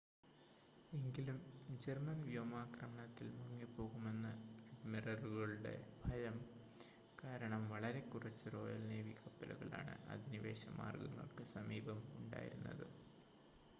എങ്കിലും ജർമ്മൻ വ്യോമാക്രമണത്തിൽ മുങ്ങിപ്പോകുമെന്ന് അഡ്മിറലുകളുടെ ഫയം കാരണം വളരെ കുറച്ച് റോയൽ നേവി കപ്പലുകളാണ് അധിനിവേശ മാർഗങ്ങൾക്ക് സമീപം ഉണ്ടായിരുന്നത്